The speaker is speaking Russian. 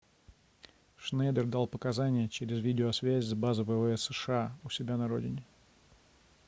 шнейдер дал показания через видеосвязь с базы ввс сша у себя на родине